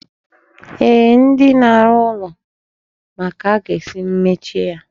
Eeh, ndị na-arụ ụlọ ma ka a ga-esi mechie ya.